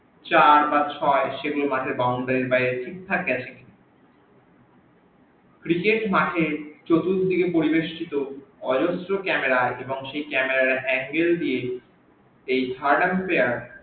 চার বা ছই সেগুল মাঠের boundary এর বাইরে ঠিক ভাবে গিয়েছে কি না cricket মাঠের চতুর্দিকে পরিবেষ্টিত অজস্র camera এবং সেই camera এর angle দিএ